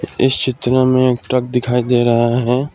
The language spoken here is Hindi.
इस चित्र हमें एक ट्रक दिखाई दे रहा है।